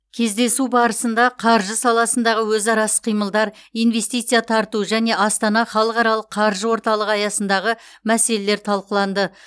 кездесу барысында қаржы саласындағы өзара іс қимылдар инвестиция тарту және астана халықаралық қаржы орталығы аясындағы мәселелер талқыланды